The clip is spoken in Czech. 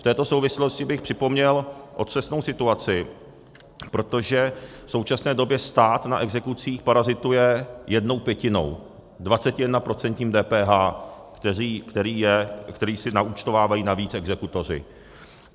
V této souvislosti bych připomněl otřesnou situaci, protože v současné době stát na exekucích parazituje jednou pětinou, 21% DPH, které si naúčtovávají navíc exekutoři.